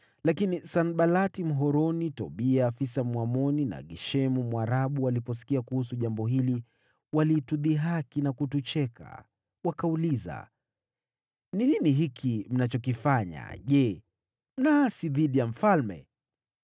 Lakini Sanbalati Mhoroni, Tobia afisa Mwamoni, na Geshemu Mwarabu waliposikia kuhusu jambo hili, walitudhihaki na kutucheka. Wakauliza, “Ni nini hiki mnachokifanya? Je, mnaasi dhidi ya mfalme?”